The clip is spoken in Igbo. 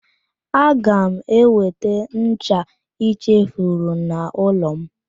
Aga m eweta ncha i chefuru n'ụlọ m.